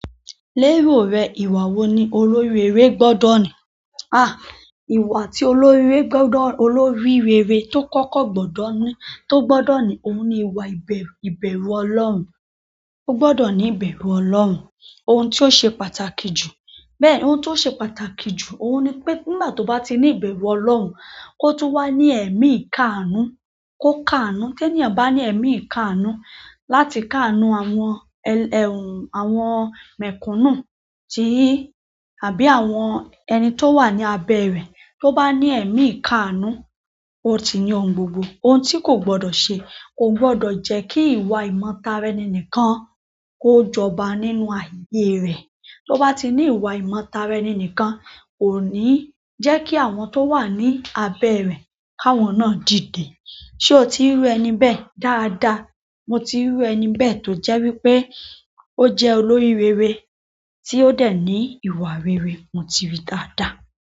Lérò rẹ, ìwà wo ni olórí rere gbọ́dọ̀ ní? Ìwà tí olórí rere tó kọ́kọ́ gbọ́dọ̀ ní, tó gbọ́dọ̀ ní, ohun ni ìwà ìbẹ̀rù Ọlọ́run. Ó gbọ́dọ̀ ní ìbẹ̀rù Ọlọ́run. Ohun ti ó ṣe pàtàkì jù, bẹ́ẹ̀, ohun tó ṣe pàtàkì jù, ohun ni pé nígbà tó bá ti ní ìbẹ̀rù Ọlọ́run, kó tún wá ní ẹ̀mí ìkáàánú, kó káàánú. Tẹ́níyan bá ní ẹ̀mí ìkáàánú láti káàánú àwọn mẹ̀kúnnù ti, àbí àwọn ẹni tó wà ní abẹ́ rẹ̀. Tó bá ni ní èmi ikaanu, o ti ní ohun gbogbo. Ohun tí kò gbọ́dọ̀ ṣe, kò gbọ́dọ̀ jẹ́ kí ìwà ìmọ̀tarani nìkan kó jọba nínú ayé rẹ̀. Tó bá ti ní ìwà ìmọ̀tarani nìkan, kò ní jẹ́ kí àwọn tó wà ní abẹ́ rẹ̀, káwọn náà dìde. Sé o ti ríru ẹni bẹ́ẹ̀ dáadáa? Mo ti riru ẹni bẹ́ẹ̀ tó jẹ́ wípé ó jẹ́ olórí rere tí ó dè ní ìwà rere, mo ti rí dáadáa.